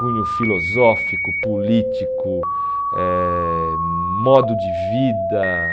Cunho filosófico, político, eh modo de vida.